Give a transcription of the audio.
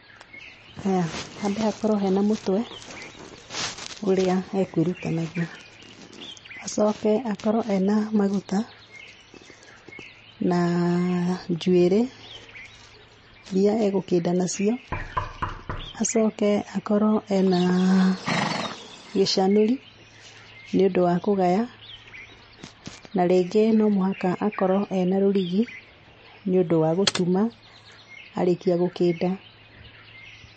Haya, hambe hakorwo hena mũtwe ũrĩa ekũĩruta naguo, acoke akorwo ena maguta na njuĩrĩ iria egũkĩnda nacio. Acoke akorwo ena gĩcanũri nĩũndũ wa kũgaya, na rĩngĩ no mũhaka akorwo ena rũrigi nĩũndũ wa gũtuma arĩkia gũkĩnda.